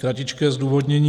Kratičké zdůvodnění.